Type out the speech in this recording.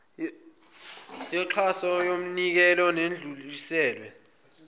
yoxhaso yomnikelo nedluliselwe